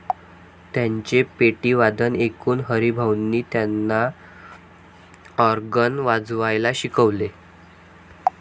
त्यांचे पेटीवादन ऐकून हरिभाऊंनी त्यांना ऑर्गन वाजवायला शिकवले.